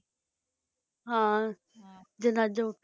ਹਾਂ ਜਨਾਜਾ ਉਠਉਗਾ